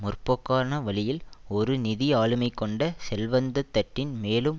முற்போக்கான வழியில் ஒரு நிதி ஆளுமை கொண்ட செல்வந்த தட்டின் மேலும்